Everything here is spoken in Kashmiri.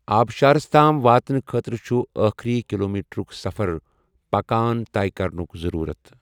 آبشارَس تام واتنہٕ خٲطرٕ چُھ ٲخری کِلومیٖٹرُک سَفَر پكان طے كرنُك ضروٗرت ۔